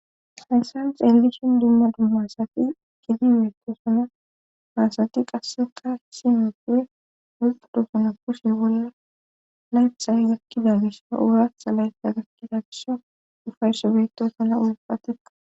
Hayssan xeelgishin dimma dummasati gidiwietosana maasati qasseqa hisi mepowe wolqudosuna kushe wolla laythay gakkida gisha ouratha laytha gakkida gisho ufayso beetosana ulpatiqa.